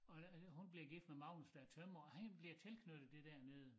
Og der hun bliver gift med Magnus der er tømrer og han bliver tilknyttet det dernede